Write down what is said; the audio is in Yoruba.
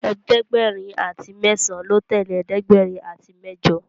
ẹ̀ẹ́dẹ̀gbẹ̀rin àti mesan ló tẹlẹ ẹ̀ẹ́dẹ̀gbẹ̀rin àti mẹjọ.